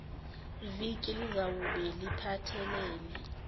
viki lizawube liphathelene